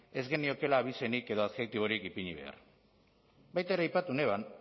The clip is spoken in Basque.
ez geniokeela abizenik eta adjektiborik ipini behar baita ere aipatu neban